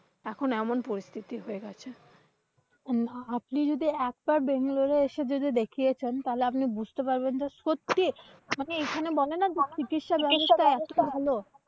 এখন এমন পরিস্থিতি হয়ে গেছে। না আপনি যদি একবার বেঙ্গালুরু এসে দেখে যেতেন তাহলে আপনি বুঝতে পারবেন যে, যে চিকিৎসা ব্যবস্থা ভালো।